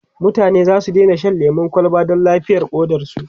mutane zasu Daina Shan lemun kwalba Dan lafiyar ƙodarsu